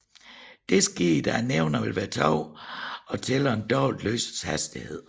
Dette sker da nævneren vil være 2 og tælleren dobbelt lysets hastighed